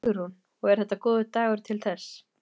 Hugrún: Og er þetta góður dagur til þess?